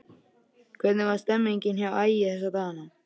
Hvernig er stemningin hjá Ægi þessa dagana?